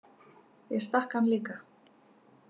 Ég stakk hann líka.